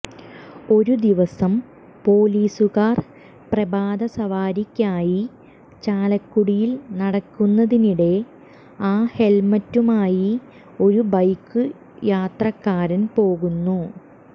ഒരു ദിവസം പൊലീസുകാർ പ്രഭാത സവാരിയ്ക്കായി ചാലക്കുടിയിൽ നടക്കുന്നതിനിടെ ആ ഹെൽമറ്റുമായി ഒരു ബൈക്ക് യാത്രക്കാരൻ പോകുന്നു